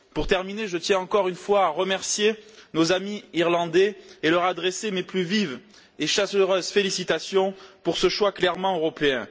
Pour terminer, je tiens à remercier une fois encore nos amis irlandais et à leur adresser mes plus vives et chaleureuses félicitations pour ce choix clairement européen.